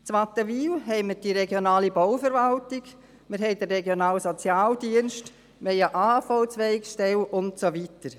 In Wattenwil haben wir die regionale Bauverwaltung, den regionalen Sozialdienst, eine AHV-Zweigstelle und so weiter.